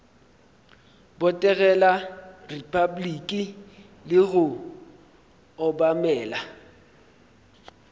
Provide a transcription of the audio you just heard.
botegela repabliki le go obamela